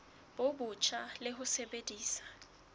bo botjha le ho sebedisa